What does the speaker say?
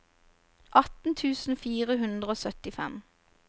atten tusen fire hundre og syttifem